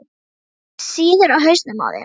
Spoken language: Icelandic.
Það sýður á hausnum á þér!